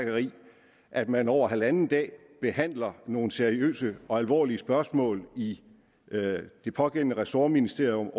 at man over halvanden dag behandler nogle seriøse og alvorlige spørgsmål i det pågældende ressortministerium